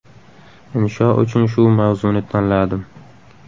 Insho uchun shu mavzuni tanladim.